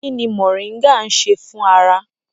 Kí ni moringa ń ṣe fún ara?